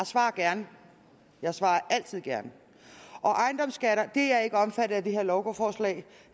svarer gerne jeg svarer altid gerne ejendomsskatterne er ikke omfattet af det her lovforslag